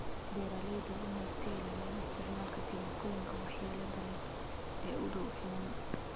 Beeralayda waa inay iska ilaaliyaan isticmaalka kiimikooyinka waxyeelada leh ee u dhow finan.